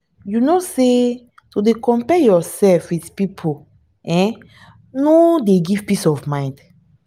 you no know sey to dey compare yoursef with pipu um no dey give peace of mind?